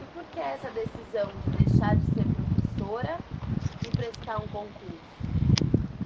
E por que essa decisão de deixar de ser professora e prestar um concurso?